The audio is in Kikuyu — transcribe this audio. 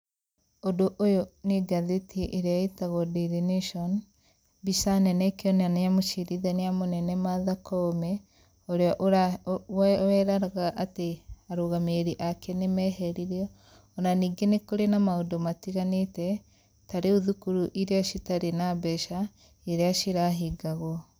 Ũndũ ũyũ nĩ ngathĩti ĩrĩa ĩtagwo DAILY NATION, mbica nene ĩkĩonania mũcirithania mũnene Martha Koome, urĩa weraga atĩ arũgamĩrĩri ake nĩmeheririo. O na ningĩ nĩ kũrĩ na maũndũ matiganĩte, ta rĩu thukuru iria citarĩ na mbeca na iria cirahingagwo.